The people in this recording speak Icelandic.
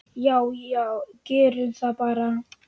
Já já, gerum það bara.